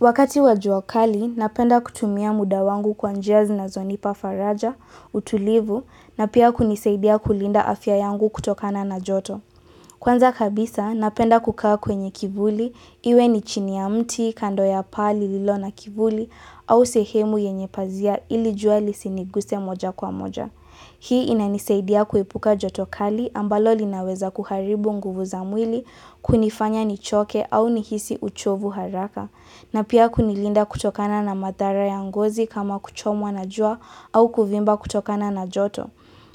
Wakati wajua kali, napenda kutumia muda wangu kwa njia zinazonipa faraja, utulivu, na pia kunisaidia kulinda afya yangu kutokana na joto. Kwanza kabisa, napenda kukaa kwenye kivuli, iwe ni chini ya mti, kando ya paa lililo na kivuli, au sehemu yenye pazia ili jua lisiniguse moja kwa moja. Hii inanisaidia kuepuka joto kali ambalo linaweza kuharibu nguvu za mwili, kunifanya nichoke au nihisi uchovu haraka. Na pia kunilinda kutokana na madhara ya ngozi kama kuchomwa na jua au kuvimba kutokana na joto.